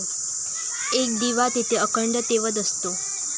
एक दिवा तेथे अखंड तेवत असतो.